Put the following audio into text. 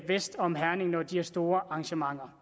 vest om herning når de har store arrangementer